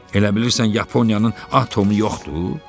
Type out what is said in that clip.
Elə bilirsən Yaponiyanın atomu yoxdur?